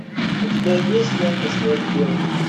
у тебя есть лента смерть девушки